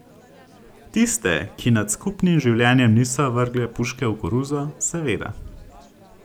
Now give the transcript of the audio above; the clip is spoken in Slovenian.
Tiste, ki nad skupnim življenjem niso vrgle puške v koruzo, seveda.